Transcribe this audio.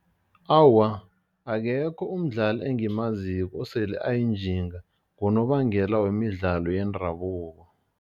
Awa, akekho umdlali engimaziko osele ayinjinga ngonobangela wemidlalo yendabuko.